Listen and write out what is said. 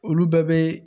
Olu bɛɛ bɛ